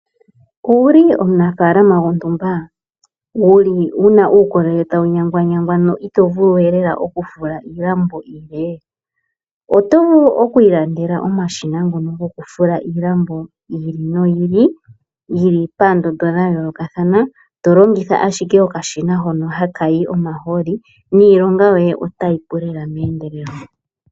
Owuli omunafaalama gwontumba wuna uukolele tawu nyanganyangwa , no ito vulu we okufula iilam iilambo iile? Oto vulu oku ilandelela omashina gokufula iilambo yiili noyiili yili paandondo , dha yoolokothana tolongitha ashike okashina hoka haka tulwa omahoolo niilonga yoye otayi pu meendelelo.